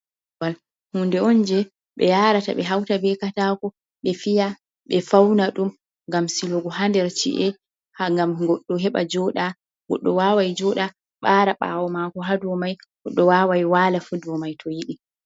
Korwal, huunde on jee ɓe yaarata ɓe hawta bee kataako, ɓe fiya, ɓe fauna ɗum, gam silugo ha der ci'e, gam goɗɗo heɓa jooɗa, goɗɗo waawan jooɗa, ɓaara ɓaawo maako ha dow mai, goɗɗo waawan waala ha dow mai fu to yiɗi.